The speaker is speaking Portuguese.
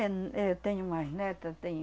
Eh, eu tenho umas neta, tenho...